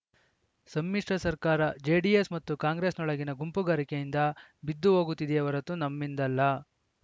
ಸಮ್ಮಿಶ್ರ ಸರ್ಕಾರ ಜೆಡಿಎಸ್‌ ಮತ್ತು ಕಾಂಗ್ರೆಸ್‌ನೊಳಗಿನ ಗುಂಪುಗಾರಿಕೆಯಿಂದ ಬಿದ್ದುಹೋಗುತ್ತದೆಯೇ ಹೊರತು ನಮ್ಮಿಂದಲ್ಲ